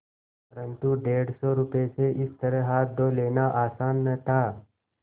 परन्तु डेढ़ सौ रुपये से इस तरह हाथ धो लेना आसान न था